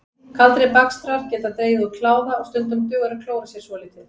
Kaldir bakstrar geta dregið úr kláða og stundum dugar að klóra sér svolítið.